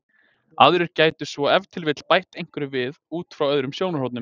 aðrir gætu svo ef til vill bætt einhverju við út frá öðrum sjónarhornum